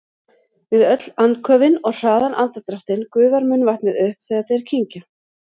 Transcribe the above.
Við öll andköfin og hraðan andardráttinn gufar munnvatnið upp þegar þeir kyngja.